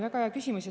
Väga hea küsimus.